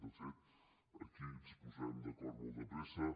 de fet aquí ens posarem d’acord molt de pressa